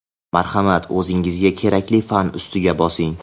Marhamat, o‘zingizga kerakli fan ustiga bosing:.